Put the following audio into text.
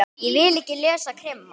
Ég vil ekki lesa krimma.